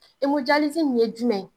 nin ye jumɛn?